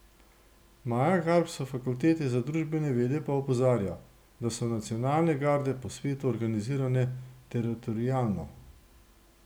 Maja Garb s fakultete za družbene vede pa opozarja, da so nacionalne garde po svetu organizirane teritorialno.